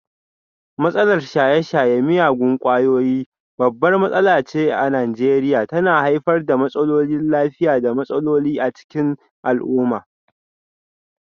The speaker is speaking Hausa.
Matsalar shaye-shayen miyagun kwayoyi babbar matsala ce a Najeriya, tana haifar da matsalolin lafiya da matsaloli a cikin al'umma.